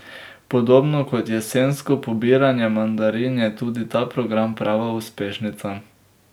Podobno kot jesensko pobiranje mandarin je tudi ta program prava uspešnica.